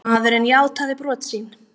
Maðurinn játaði brot sín